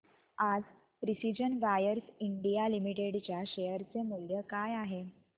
आज Precision Wires India Limited च्या share चे मूल्य काय आहे